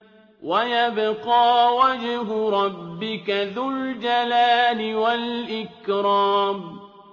وَيَبْقَىٰ وَجْهُ رَبِّكَ ذُو الْجَلَالِ وَالْإِكْرَامِ